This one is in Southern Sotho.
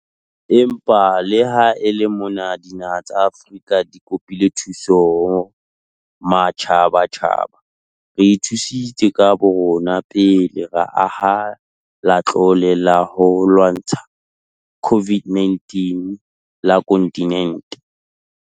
Empa le ha e le mona dinaha tsa Afrika di kopile thuso ho matjhabatjhaba, re ithusitse ka borona pele ra aha Latlole la ho lwantsha COVID-19 la kontinente.